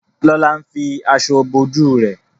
Lola ń fí aṣọ bó ojú rẹ.